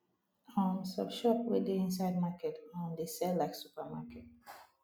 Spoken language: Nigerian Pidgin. um some shop wey dey inside market um dey sell like super market